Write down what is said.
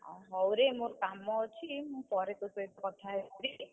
ହଉରେ ମୋର କାମ ଅଛି, ମୁଁ ପରେ ତୋ ସହିତ କଥା ହେଇଯିବି।